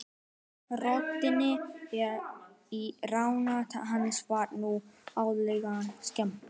Röddinni í eyra hans var nú auðheyrilega skemmt.